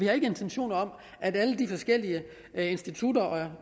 har intentioner om at alle de forskellige institutter